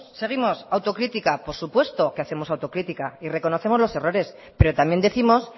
seguimos autocrítica por supuesto que hacemos autocrítica y reconocemos los errores pero también décimos